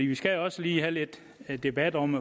vi skal også lige have lidt debat om